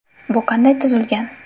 Bu qanday tuzilgan?